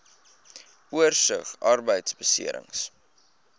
oorsig arbeidbeserings